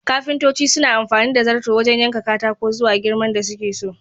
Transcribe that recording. Kafintoci suna amfani da zarto wajan yanka katako zuwa girman da suke so